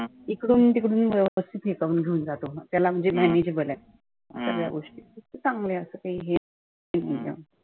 इकडुन तिकडुन भाऊच घेऊन जातो. त्याला ते manageable आहे. सगळ्या गोष्टी चांगल असते.